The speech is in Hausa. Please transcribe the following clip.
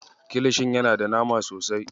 Kilishin yana da nama sosai.